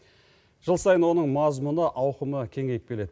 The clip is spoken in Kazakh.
жыл сайын оның мазмұны ауқымы кеңейіп келеді